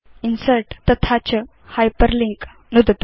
insert तथा च hyperlink नुदतु